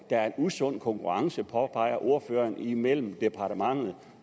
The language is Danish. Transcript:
der er en usund konkurrence det påpeger ordføreren imellem departementet